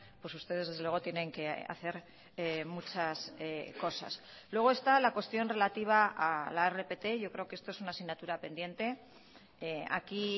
pues ustedes desde luego tienen que hacer muchas cosas luego está la cuestión relativa a la rpt yo creo que esto es una asignatura pendiente aquí